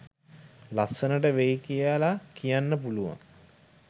ලස්සනට වෙයි කියලා කියන්න පුළුවන්.